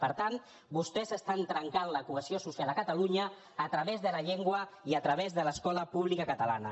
per tant vostès estan trencant la cohesió social de catalunya a través de la llengua i a través de l’escola pública catalana